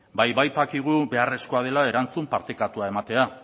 badakigulako beharrezkoa dela erantzun partekatua ematea